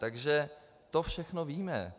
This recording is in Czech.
Takže to všechno víme.